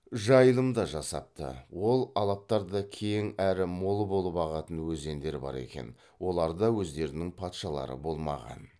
жайылымда жасапты ол алаптарда кең әрі мол болып ағатын өзендер бар екен оларда өздерінің патшалары болмаған